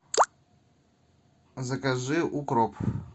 закажи укроп